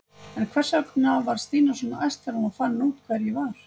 En hvers vegna varð Stína svona æst þegar hún fann út hver ég var?